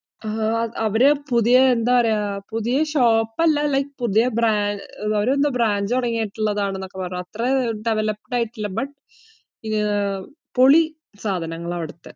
അവരെ പുതിയ ന്ത പറയുവാ, പുതിയ shop അല്ല like പുതിയ ന്തോ branch തുടങ്ങിട്ടുള്ളതാണെന്നൊക്കെ പറഞ്ഞു. അത്ര develop ആയിട്ടില്ല. but പൊളി സാധനങ്ങൾ ആണ് അവിടുത്തെ.